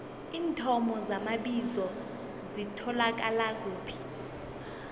iinthomo zamabizo zitholakala kuphi